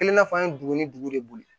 A kelen n'a fɔ an ye dugu ni dugu de boli